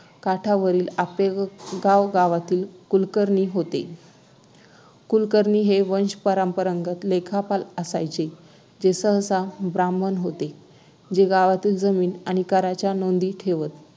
काठावरील आपेगाव गावातील कुलकर्णी होते कुलकर्णी हे वंशपरंपरागत लेखापाल असायचे जे सहस्त्र ब्राम्हण होते जे गावातील जमीन आणि कराच्या नोंदी ठेवत